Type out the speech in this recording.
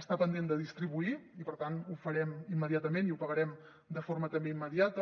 està pendent de distribuir i per tant ho farem immediatament i ho pagarem de forma també immediata